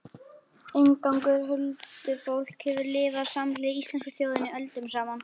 Inngangur Huldufólk hefur lifað samhliða íslensku þjóðinni öldum saman.